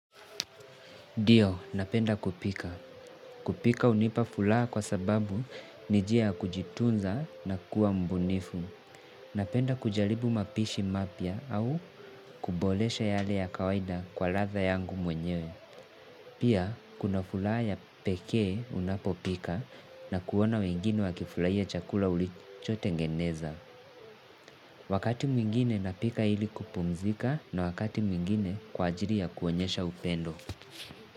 Ndio, napenda kupika. Kupika hunipa furaha kwa sababu ni njia ya kujitunza na kuwa mbunifu. Napenda kujaribu mapishi mapya au kuboresha yale ya kawaida kwa ladha yangu mwenyewe. Pia, kuna furaha ya pekee unapopika na kuona wengine wakifurahia chakula ulichotengeneza. Wakati mwingine napika ili kupumzika na wakati mwingine kwa ajili ya kuonyesha upendo.